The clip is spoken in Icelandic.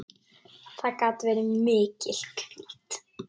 Það gat verið mikil hvíld.